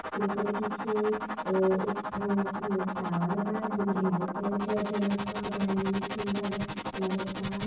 फिर ओकरे पीछे एक ठो अ टॉवर बा जेमर लाइट वाइट जलत ह बड़ा नीक सुन्दर लगत बा।